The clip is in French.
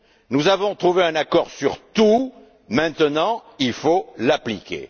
Nous avons trouvé un accord sur tout, maintenant il faut l'appliquer.